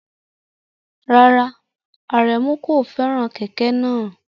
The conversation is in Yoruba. Rárá, Aremu kò fẹ́ràn kẹ̀kẹ́ náà.